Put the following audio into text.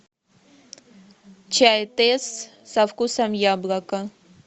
чай тесс со вкусом яблока